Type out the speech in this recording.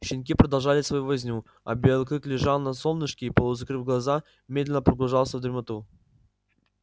щенки продолжали свою возню а белый клык лежал на солнышке и полузакрыв глаза медленно погружался в дремоту